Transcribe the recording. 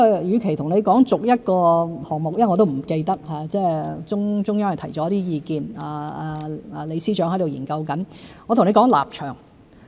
與其逐一說出每個項目——我也不完全記得，中央提了一些意見，李司長正在研究——不如我說立場。